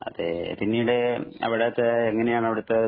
അതേ പിന്നീട് അവിടത്തെ എങ്ങനെയാണ് അവിടത്തെ